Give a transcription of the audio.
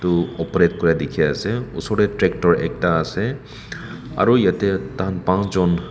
tu operate kura dikhiase osor tae tractor ekta ase aru yatae takhan pansjon.